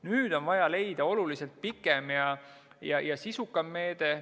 Nüüd on vaja leida oluliselt pikem ja sisukam meede.